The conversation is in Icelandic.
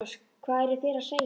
LÁRUS: Hvað eruð þér að segja?